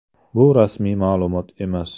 Bu rasmiy ma’lumot emas.